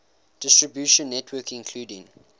distribution network including